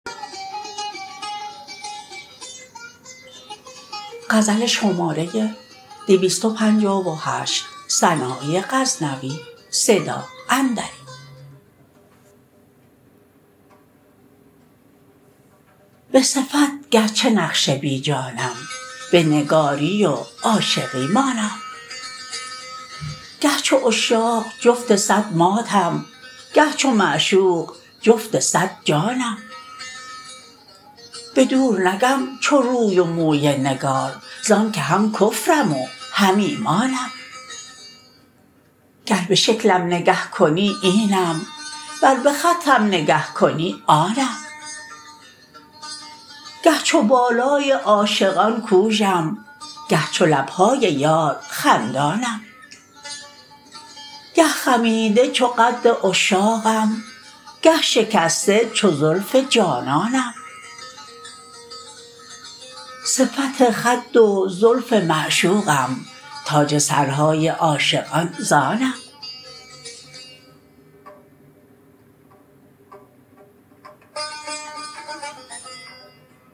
به صفت گر چه نقش بی جانم به نگاری و عاشقی مانم گه چو عشاق جفت صد ماتم گه چو معشوق جفت صد جانم به دور نگم چو روی و موی نگار زان که هم کفرم و هم ایمانم گر به شکلم نگه کنی اینم ور به خطم نگه کنی آنم گه چو بالای عاشقان کوژم گه چو لب های یار خندانم گه خمیده چو قد عشاقم گه شکسته چو زلف جانانم صفت خد و زلف معشوقم تاج سرهای عاشقان زانم